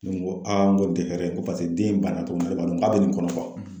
N ko aa n ko tɛ hɛrɛ ye dɛ, n ko paseke den in banna cogo min na k'a bɛ nin kɔnɔ